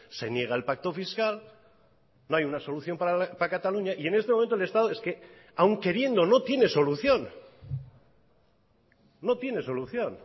se niega el pacto fiscal no hay una solución para cataluña y en este momento el estado es que aun queriendo no tiene solución no tiene solución